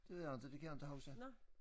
Det ved jeg inte det kan jeg inte huske